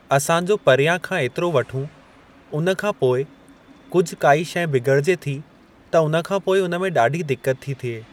असां जो परियां खां एतिरो वठूं उन खां पोइ कुझु काई शइ बिगड़िजे थी त उन खां पोइ उन में ॾाढी दिकत थी थिए।